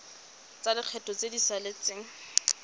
tsa lekgetho tse di saletseng